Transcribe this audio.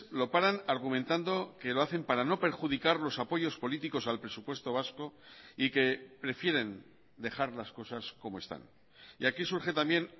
lo paran argumentando que lo hacen para no perjudicar los apoyos políticos al presupuesto vasco y que prefieren dejar las cosas como están y aquí surge también